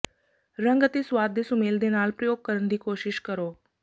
ਰੰਗ ਅਤੇ ਸੁਆਦ ਦੇ ਸੁਮੇਲ ਦੇ ਨਾਲ ਪ੍ਰਯੋਗ ਕਰਨ ਦੀ ਕੋਸ਼ਿਸ਼ ਕਰੋ